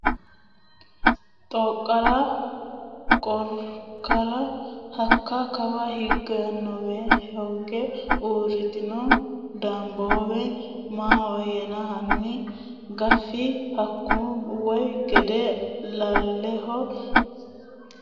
Xooqara Xooqara hakka kawa higannowa hooge uurrinowa Danboowe Maahoyyena hanni gaffi hunku way gede lolahe imisinni assiteenna anfannina dirranna ofolli !